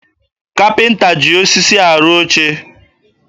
Kapịnta ji osisi arụ oche